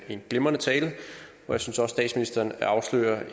en glimrende tale jeg synes at statsministeren afslører